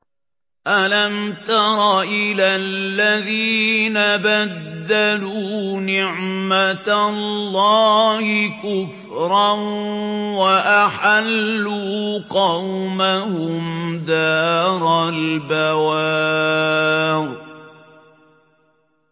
۞ أَلَمْ تَرَ إِلَى الَّذِينَ بَدَّلُوا نِعْمَتَ اللَّهِ كُفْرًا وَأَحَلُّوا قَوْمَهُمْ دَارَ الْبَوَارِ